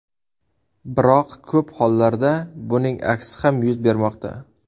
Biroq ko‘p holatlarda buning aksi ham yuz bermoqda.